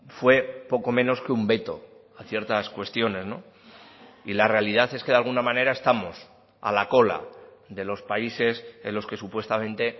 fue poco menos que un veto a ciertas cuestiones y la realidad es que de alguna manera estamos a la cola de los países en los que supuestamente